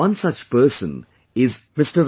One such person is Mr